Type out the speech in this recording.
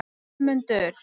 Vilmundur